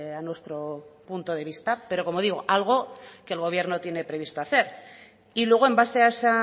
a nuestro punto de vista pero como digo algo que el gobierno tiene previsto hacer y luego en base a ese